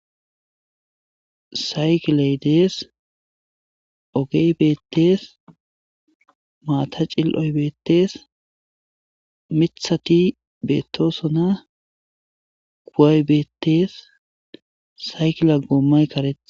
saykiley dees. ogey beettees. maata cil'oy beettees. miiththati beettoosona. kuway beettees saykila goommoy karetta.